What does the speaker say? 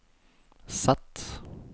Z